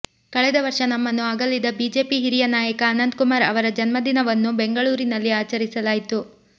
ಕಳೆದ ವರ್ಷ ನಮ್ಮನ್ನು ಅಗಲಿದ ಬಿಜೆಪಿ ಹಿರಿಯ ನಾಯಕ ಅನಂತ್ ಕುಮಾರ್ ಅವರ ಜನ್ಮದಿನವನ್ನು ಬೆಂಗಳೂರಿನಲ್ಲಿ ಆಚರಿಸಲಾಯಿತು